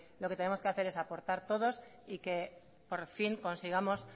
lo que tenemos que hacer es aportar todos y que por fin consigamos